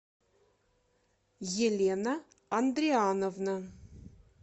елена андриановна